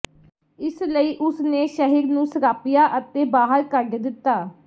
ਇਸ ਲਈ ਉਸ ਨੇ ਸ਼ਹਿਰ ਨੂੰ ਸਰਾਪਿਆ ਅਤੇ ਬਾਹਰ ਕੱਢ ਦਿੱਤਾ